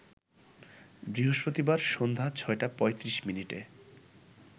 বৃহস্পতিবার সন্ধ্যা ৬টা ৩৫ মিনিটে